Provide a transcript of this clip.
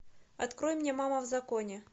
открой мне мама в законе